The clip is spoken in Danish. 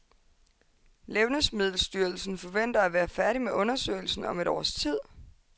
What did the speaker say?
Levnedsmiddelstyrelsen forventer at være færdig med undersøgelsen om et års tid.